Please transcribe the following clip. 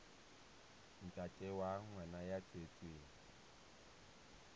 ntate wa ngwana ya tswetsweng